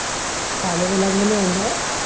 साल्याच्या लग्न नाही व्हईल ना आहो.